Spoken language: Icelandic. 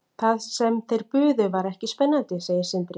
Það sem þeir buðu var ekki spennandi, segir Sindri.